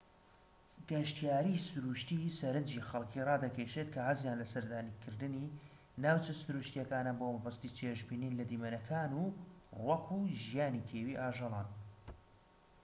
گەشتیاریی سروشتیی سەرنجی خەلکی رادەکێشێت کە حەزیان لە سەردانکردنی ناوچە سروشتیەکانە بۆ مەبەستی چێژبینین لە دیمەنەکان و ڕووەك و ژیانی کێویی ئاژەڵەکان